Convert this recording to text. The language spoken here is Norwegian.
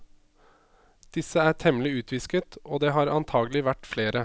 Disse er temmelig utvisket og det har antakelig vært flere.